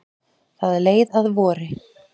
Það leið að vori.